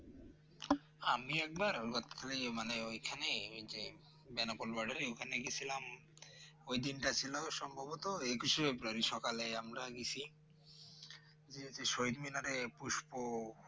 আমি একবার মানে ওখানে ওই যে বেনাপোল Border এ ওখানে গিয়েছিলাম ওই দিনটা ছিল সম্ভবত একুশেশে ফেব্রুয়ারি সকালে আমরা গেছি গিয়ে সেই শহীদ মিনারে পুস্পহ